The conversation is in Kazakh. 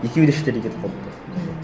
екеуі де шетелге кетіп қалыпты ммм